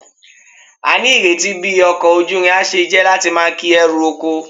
A ni ireti bi oko ojuirin a se je lati maa ki eru oko